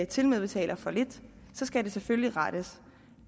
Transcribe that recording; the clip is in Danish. tilmed betaler for lidt så skal det selvfølgelig rettes